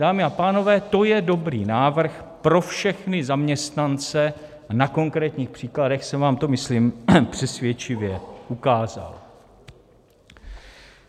Dámy a pánové, to je dobrý návrh pro všechny zaměstnance a na konkrétních příkladech jsem vám to myslím přesvědčivě ukázal.